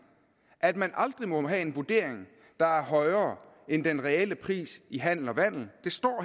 at man aldrig må have en vurdering der er højere end den reelle pris i handel og vandel det står